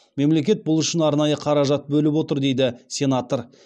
мемлекет бұл үшін арнайы қаражат бөліп отыр дейді сенатор